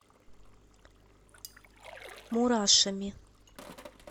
мурашами